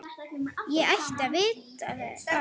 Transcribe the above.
Ég ætti að vita það.